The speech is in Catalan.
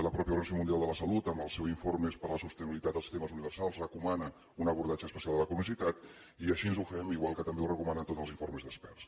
la mateixa organització mundial de la salut en els seus informes per la sostenibilitat dels sistemes universals recomana un abordatge especial de la cronicitat i així ho fem igual que també ho recomanen tots els informes d’experts